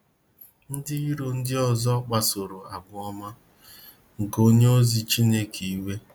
Ndị iro ndị ọzọ kpasoro àgwà ọma nke onye ozi Chineke iwe.